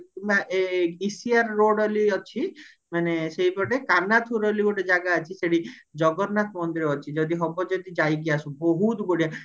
ECR road ବୋଲି ଅଛି ମାନେ ସେଇପଟେ କନାଥୁର ବୋଲି ଗୋଟେ ଜାଗା ଅଛି ସେଠି ଜଗନ୍ନାଥ ମଦିର ଅଛି ଯଦି ହବ ଯଦି ଯାଇକି ଆସ ବହୁତ ବଢିଆ